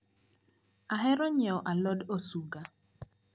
Ahero nyiewo alod osuga.